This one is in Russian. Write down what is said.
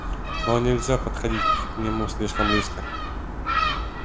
но нельзя подходить к нему слишком близко